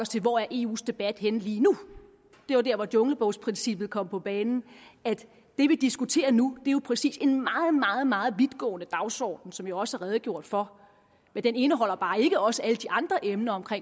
til hvor eus debat er henne lige nu det var der hvor junglebogsprincippet kom på banen det vi diskuterer nu er jo præcis en meget meget vidtgående dagsorden som jeg også har redegjort for men den indeholder bare ikke også alle de andre emner om